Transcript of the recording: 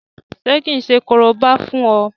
Ṣé kí n ṣe korobá fún ọ?